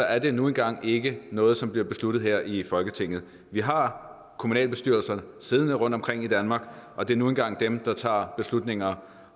er det nu engang ikke noget som bliver besluttet her i folketinget vi har kommunalbestyrelser siddende rundtomkring i danmark og det er nu engang dem der tager beslutninger om